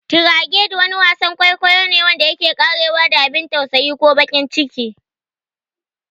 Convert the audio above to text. "Tragedy" Wasan kwaikwayo ne wanda yake ƙarewa da abin tausayi ko baƙin ciki.